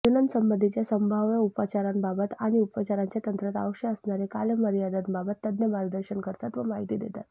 प्रजननासंबंधीच्या संभाव्य उपचारांबाबत आणि उपचारांच्या तंत्रात आवश्यक असणाऱ्या कालमर्यादांबाबत तज्ज्ञ मार्गदर्शन करतात व माहिती देतात